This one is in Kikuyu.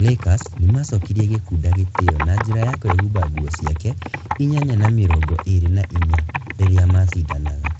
Lakers nĩ maacokirie Gikunda gĩtĩo na njĩra ya kwĩhumba nguo ciake - inyanya na mĩrongo ĩĩrĩ na inya. Rĩrĩa maacindanaga.